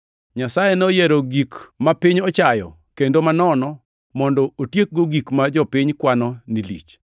Nyasaye noyiero gik ma piny ochayo kendo manono mondo otiekgo gik ma jopiny kwano ni lich.